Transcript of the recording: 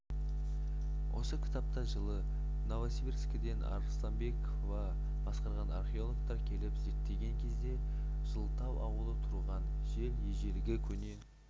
осы кітапта жылы новосибирскіден арысланбекова басқарған археологтар келіп зерттеген кезде жылытау ауылы тұрған жер ежелгі көне